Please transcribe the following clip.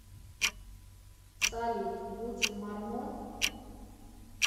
салют путин мормон